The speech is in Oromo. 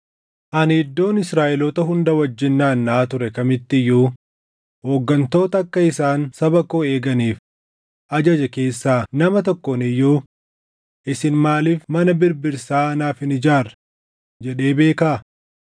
Ani iddoon Israaʼeloota hunda wajjin naannaʼaa ture kamitti iyyuu hooggantoota akka isaan saba koo eeganiif ajaje keessaa nama tokkoon iyyuu, “Isin maaliif mana birbirsaa naaf hin ijaarre?” jedhee beekaa?’